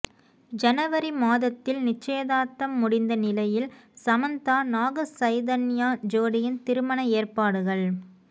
ஜனவரி மாதத்தில் நிச்சயதார்த்தம் முடிந்த நிலையில் சமந்தா நாக சைதன்யா ஜோடியின் திருமண ஏற்பாடுகள்